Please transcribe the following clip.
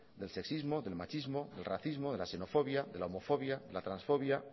del sexismo del machismo del racismo de la xenofobia de la homofobia la transfobia